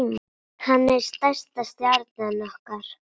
Hann er stærsta stjarna okkar.